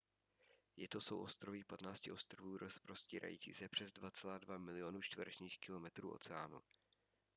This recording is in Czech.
je to souostroví 15 ostrovů rozprostírající se přes 2,2 milionu čtverečních kilometrů oceánu